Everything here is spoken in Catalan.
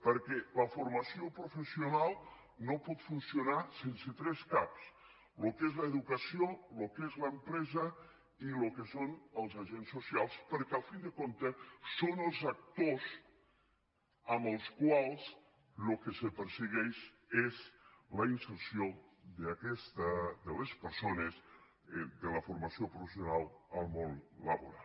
perquè la formació professional no pot funcionar sense tres caps el que és l’educació el que és l’empresa i el que són els agents socials perquè al cap i a la fi són els actors amb els quals el que se per·segueix és la inserció de les persones de la formació professional al món laboral